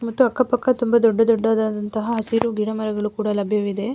ಮತ್ತು ಅಕ್ಕ ಪಕ್ಕ ತುಂಬ ದೊಡ್ಡ ದೊಡ್ಡದಾದಂತಹ ಹಸಿರು ಗಿಡ ಮರಗಳು ಕೂಡ ಲಭ್ಯವಿದೆ.